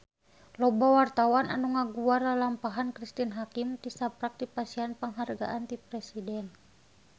Loba wartawan anu ngaguar lalampahan Cristine Hakim tisaprak dipasihan panghargaan ti Presiden